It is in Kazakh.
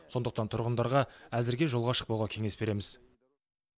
сондықтан тұрғындарға әзірге жолға шықпауға кеңес береміз